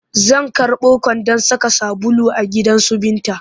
Zan karɓo kwandon saka sabulu a gidansu Binta